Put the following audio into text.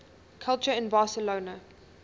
culture in barcelona